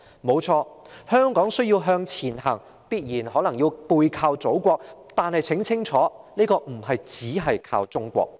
香港誠然是需要向前行，也必然要背靠祖國，但很清楚的是，香港不能只是靠中國。